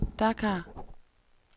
Dakar